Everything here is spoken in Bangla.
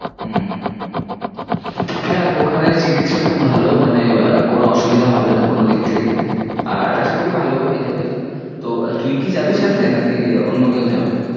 হম দেখ ওখানে চিকিৎসা খুব ভালো মানে আহ কোনো অসুবিধা হবে না কোনো দিক থেকেই। আর আশা করি ভালোও হয়ে যাবে। তো তুই কি যাবি সাথে নাকি অন্য কেউ যাবে?